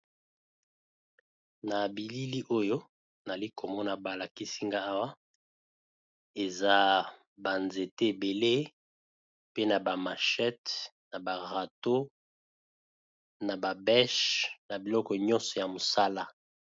Na bilili oyo nali komona ba lakisi nga awa eza ba nzete ebele pe na ba machete, na ba râteau, na ba beche, na biloko nyonso ya mosala.